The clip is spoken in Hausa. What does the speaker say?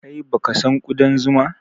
Kai baka son ƙudan zuma?